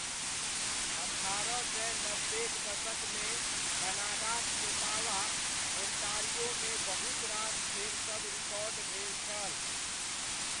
अठारह सय नब्बेक दशकमे कनाडाक ओटावा, ओण्टारियोमे बहुतरास खेलसभ रिकॉर्ड भेल छल।